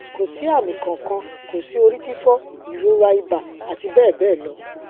ko si ami kan kan ko si ori fifo irora iba ati bẹbẹlọ